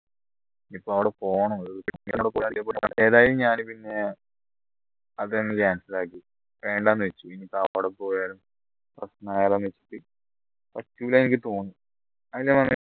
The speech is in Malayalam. ഇനിയിപ്പോ അവിടെ പോണോ ഏതായാലും ഞാൻ പിന്നെ അതങ്ങ് cancel ആക്കി വേണ്ടന്ന് വെച്ചു ഇനി അവിടെ പോയാൽ പറ്റൂല എന്ന് എനിക്ക് തോന്നുന്നു